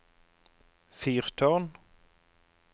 fyrtårn